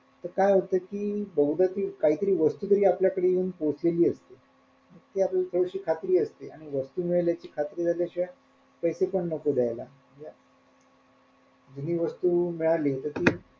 तर काय होत कि बहुदा ती काय तरी वस्तू तरी आपल्याकडे येऊन पोहोचलेली असते ती आपल्याला थोडीशी खात्री असते आणि वस्तू मिळाल्याची खात्री झाल्याशिवाय पैसे पण नको देयला हि वस्तू मिळाली तर ती,